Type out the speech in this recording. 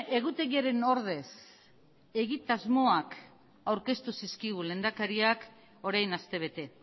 egutegiaren ordez egitasmoak aurkeztu zizkigun lehendakariak orain astebete